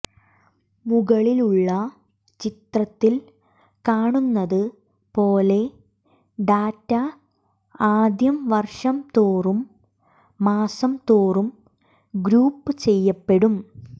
മുകളിലുള്ള ചിത്രത്തിൽ കാണുന്നത് പോലെ ഡാറ്റ ആദ്യം വർഷംതോറും മാസംതോറും ഗ്രൂപ്പുചെയ്യപ്പെടും